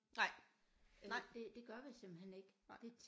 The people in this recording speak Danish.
Nej nej nej